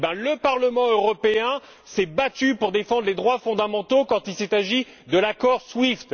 Eh bien, le Parlement européen s'est battu pour défendre les droits fondamentaux quand il s'est agi de l'accord SWIFT